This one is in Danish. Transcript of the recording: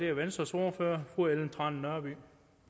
er venstres ordfører fru ellen trane nørby